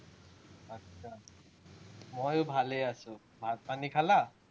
ময়ো ভালে আছো। ভাত-পানী খালা?